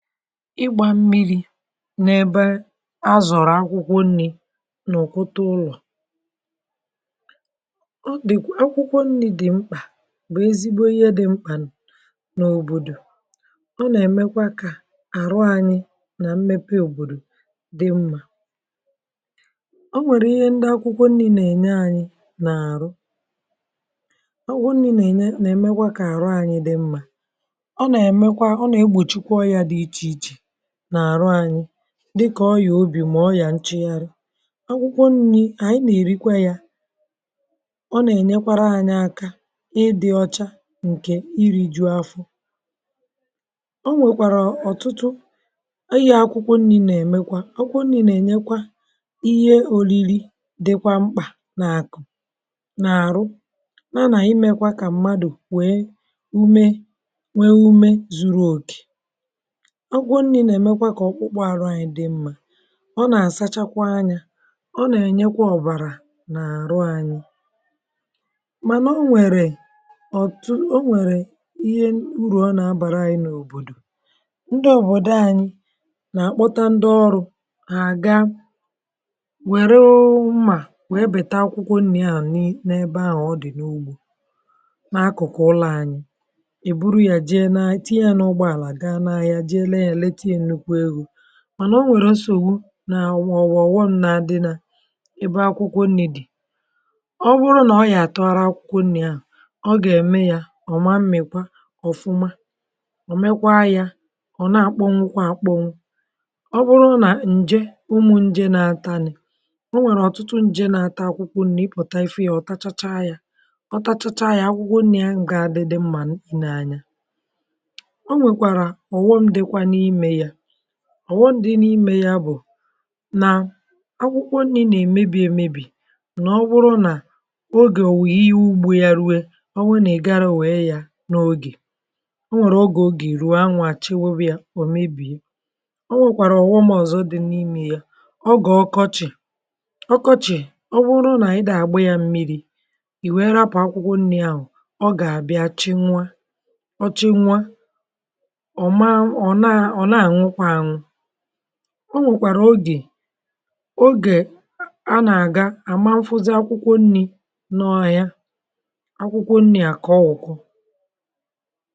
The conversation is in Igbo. N’ebe a na-edobe akwụkwọ nri̇ n’ime ụlọ̀, e nwere akwụkwọ nri̇ ndị dị̀ mkpa nke ukwuu. Ha bụ ihe bara uru n’òbòdò. Ha na-enyekwa aka n’ịkwalite ahụ ike anyị, ma na-enyekwa aka n’ịkwalite mmepe obodo. E nwere ọtụtụ uru ndị akwụkwọ nri̇ na-enye anyị na ahụ anyị. Ha na-eme ka ahụ mmadụ sie ike ma bụrụ nke ọma. Ha na-enyere ọbara dịrị n’ụzọ ọma, ha na-eme ka obi sie ike, ma na-enyekwa aka n’ime nri sie nke ọma. Akwụkwọ nri̇ ndị anyị na-eri na-enyekwara aka ime ka akpụkpọ ahụ anyị dị ọcha ma maa mma. Ha na-eme ka afọ juo, ma na-enye ike n’ahụ. Akwụkwọ nri̇ na-enyere ahụ mmadụ aka inwe ume, ma na-enye ihe ndị bara uru nke dị mkpa maka ahụ ike na ọrụ ugbo. Ha na-enyere mmadụ inweta ume zuru oke, ma na-eme ka mmadụ dịrị ndụ n’udo. Ha na-asachakwa anya, ma na-enyekwa aka ime ọbara dị ọcha n’ime ahụ. Ma ọ bụ ezie na akwụkwọ nri̇ bara uru, ha nwekwara nsogbu ụfọdụ. E nwere uru, ma e nwekwara ihe ọghọm. N’ime obodo anyị, ndị mmadụ na-ezukọ iji bepụta akwụkwọ nri̇, ha na-eji mma ma ọ bụ mma agha bepụ ha. Akwụkwọ nri̇ ndị a na-etolitekarị n’ugbò dị nso n’ụlọ anyị, e bepụchara ha, e tinye ha n’ime basket ma ọ bụ akpa, wee buru ha site n’ụgbọ ala gaa ahịa ka e ree ha. Ma e nwekwara nsogbu ndị na-emetụta akwụkwọ nri̇. Oge ụfọdụ, mgbe a naghị echekwa akwụkwọ nri̇ nke ọma, ha na-adịrị ire ngwa ngwa. E nwekwara ụmụ̀ nje na ụmụanụmanụ ndị na-ata akwụkwọ nri̇, ha na-eri akwụkwọ ndụ ha ma bibie ha. Mgbe ụmụ̀ nje ndị a wakporo akwụkwọ nri̇, akwụkwọ nri̇ ahụ na-efunahụ isi ụtọ ya, ma adịkwaghị mma iri. Akwụkwọ nri̇ ndị e nweghị ike ichekwa nke ọma ma ọ bụ kpuchie, na-akpọnwụ ngwa ngwa ma ọ bụ na-amịpụta isi. Ọ bụrụ na e meghị ree ha n’oge, ma ọ bụ mgbe mmiri anaghị ada dịka o kwesịrị, akwụkwọ nri̇ ahụ nwere ike ire kpamkpam. Oge ụfọdụ, n’ihi ihu igwe na-adịghị mma, akwụkwọ nri̇ na-akpọnwụ n’okpuru anwụ. Ọ bụrụ na mmiri anaghị eruo ha n’oge kwesịrị ekwesị, ha na-ada ma nwụọ. Ndị mmadụ ụfọdụ na-aga n’ụlọ ọmụmụ ka ha mụta otu esi akụ̀ ma lekọta akwụkwọ nri̇, iji gbochie nsogbu ndị a. N’ịkpọpụta ya n’ụzọ dị mkpirikpi, akwụkwọ nri̇ bụ ihe dị mkpa nke ukwuu. Ha na-enye nri, ha na-enyere ahụ ike, ma na-enyekwa aka n’ịkwalite ọrụ ugbo na mmepe obodo.